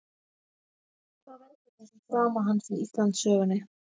Hvað veldur þessum frama hans í Íslandssögunni?